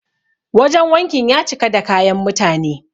Wajen wankin ya cika da kayan mutane.